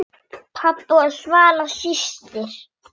Ég lærði margt af Paul.